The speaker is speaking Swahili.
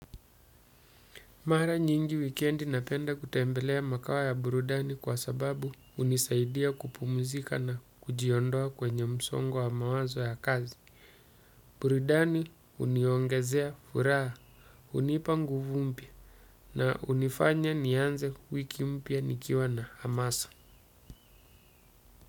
Mara nyingi wikendi napenda kutembelea makao ya burudani kwa sababu hunisaidia kupumzika na kujiondoa kwenye msongo wa mawazo ya kazi. Burudani huniongezea furaha hunipa nguvu mpya na hunifanya nianze wiki mpya nikiwa na hamasa.